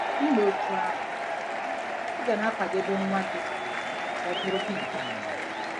I mee otú ahụ, ị ga na-akwadebe nwa gị ka ọ bụrụ dimkpa.